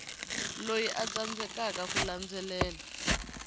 loyi a tsandzekaka ku landzelela